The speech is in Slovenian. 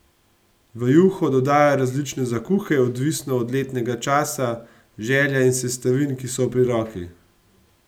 V juho dodajajo različne zakuhe, odvisno od letnega časa, želja in sestavin, ki so pri roki.